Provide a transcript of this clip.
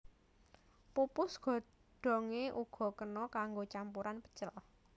Pupus godhonge uga kena kanggo campuran pecel